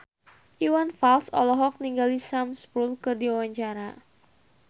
Iwan Fals olohok ningali Sam Spruell keur diwawancara